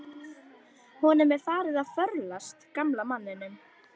Honum er farið að förlast, gamla manninum.